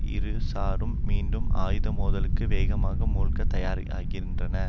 இருசாரும் மீண்டும் ஆயுத மோதலுக்கு வேகமாக மூழ்க தயாராகின்றன